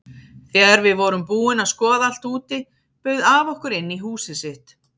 Þegar við vorum búin að skoða allt úti bauð afi okkur inn í húsið sitt.